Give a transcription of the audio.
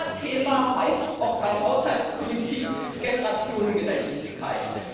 Unser Thema heißt auch bei Haushaltspolitik Generationengerechtigkeit.